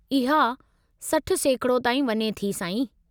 इहा 60% ताईं वञे थी, साईं।